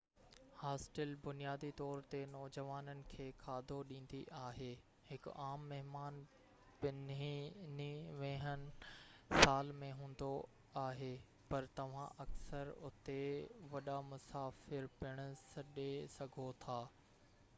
hostel بنيادي طور تي نوجوانن کي کاڌو ڏيندي آهي ـ هڪ عام مهمان پنهني ويهين سال ۾ هوندو آهي - پر توهان اڪثر اتي وڏا مسافر پڻ ڏسي سگهو ٿا